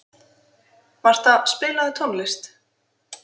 Marta, spilaðu tónlist.